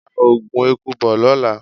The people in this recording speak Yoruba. Ra Ògùn eku bo lóla!